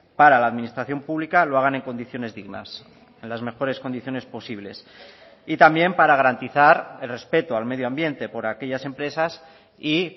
para la administración pública lo hagan en condiciones dignas en las mejores condiciones posibles y también para garantizar el respeto al medioambiente por aquellas empresas y